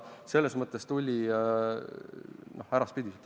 Selles mõttes tuli ta äraspidiselt.